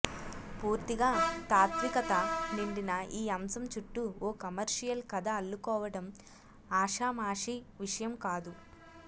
పూర్తిగా తాత్వికత నిండిన ఈ అంశం చుట్టూ ఓ కమర్షియల్ కథ అల్లుకోవడం ఆషామాషీ విషయం కాదు